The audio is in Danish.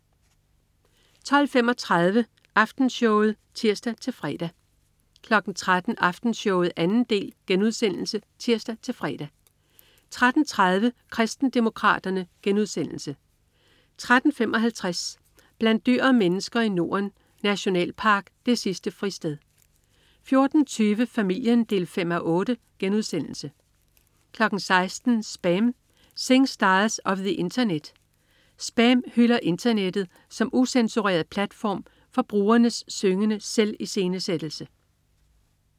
12.35 Aftenshowet* (tirs-fre) 13.00 Aftenshowet 2. del* (tirs-fre) 13.30 Kristendemokraterne* 13.55 Blandt dyr og mennesker i Norden. Nationalpark det sidste fristed 14.20 Familien 5:8* 16.00 SPAM. Singstars of the Internet. "SPAM" hylder internettet som ucensureret platform for brugernes syngende selviscenesættelse